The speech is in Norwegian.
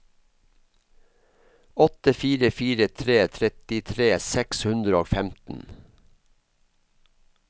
åtte fire fire tre trettitre seks hundre og femten